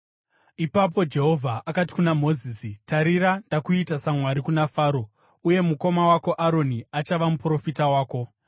Ipapo Jehovha akati kuna Mozisi. “Tarira, ndakuita saMwari kuna Faro, uye mukoma wako Aroni achava muprofita wako.